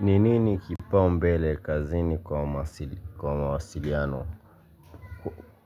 Ni nini kipao mbele kazini kwa mawasiliano?